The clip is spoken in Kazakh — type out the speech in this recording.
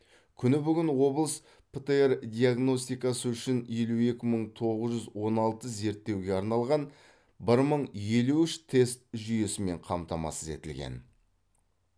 күні бүгін облыс птр диагностикасы үшін елу екі мың тоғыз жүз он алты зерттеуге арналған бір мың елу үш тест жүйесімен қамтамасыз етілген